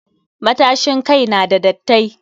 Matashin kai n da dattai.